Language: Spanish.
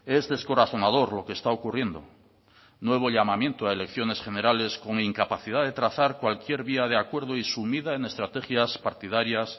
es descorazonador lo que está ocurriendo nuevo llamamiento a elecciones generales con incapacidad de trazar cualquier vía de acuerdo y sumida en estrategias partidarias